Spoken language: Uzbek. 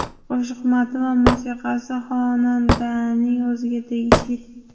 Qo‘shiq matni va musiqasi xonandaning o‘ziga tegishli.